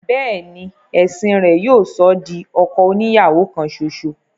béèni ẹ̀sìn rẹ̀ yóò sọ ọ́ di ọkọ oni ìyàwó kan ṣoṣo.